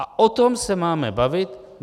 A o tom se máme bavit.